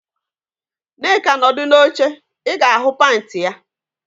Nneka nọdụ n'oche, ị ga-ahụ panti ya